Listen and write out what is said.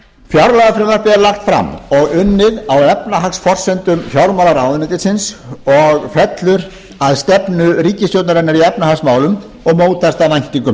fjárlagafrumvarpið er lagt fram og unnið á efnahagsforsendum fjármálaráðuneytisins og fellur að stefnu ríkisstjórnarinnar í efnahagsmálum og mótast af væntingum